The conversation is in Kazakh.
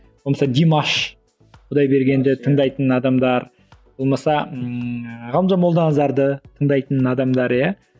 болмаса димаш құдайбергенді тыңдайтын адамдар болмаса ыыы ғалымжан молданазарды тыңдайтын адамдар иә